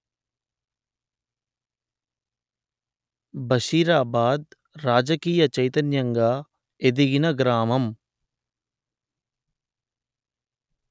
బషీరాబాద్ రాజకీయ చైతన్యంగా ఎదిగిన గ్రామం